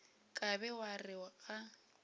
ka be wa re ga